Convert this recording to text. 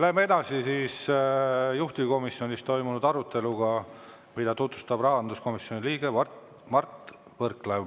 Läheme edasi juhtivkomisjonis toimunud arutelu juurde, mida tutvustab rahanduskomisjoni liige Mart Võrklaev.